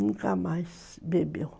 Nunca mais bebeu.